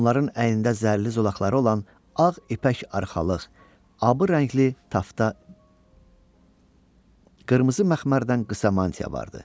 Onların əynində zərli zolaqları olan ağ ipək arxalıq, abı rəngli tafta, qırmızı məxmərdən qısa mantiya vardı.